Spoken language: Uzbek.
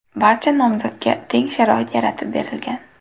Barcha nomzodga teng sharoit yaratib berilgan.